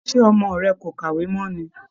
Ṣe ọmọ rẹ kò kàwé mọ́ ni?